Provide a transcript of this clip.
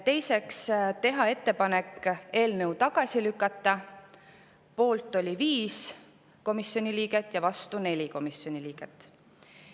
Teiseks, teha ettepanek eelnõu tagasi lükata, selle poolt oli 5 komisjoni liiget ja vastu 4 komisjoni liiget.